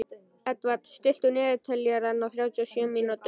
Edvard, stilltu niðurteljara á þrjátíu og sjö mínútur.